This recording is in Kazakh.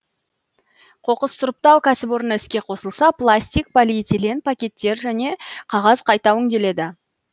қоқыс сұрыптау кәсіпорны іске қосылса пластик полиэтилен пакеттер және қағаз қайта өңделеді